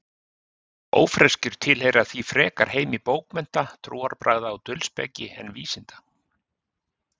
Ófreskjur tilheyra því frekar heimi bókmennta, trúarbragða og dulspeki en vísinda.